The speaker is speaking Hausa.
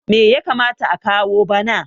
me ya kamata a kawo bana!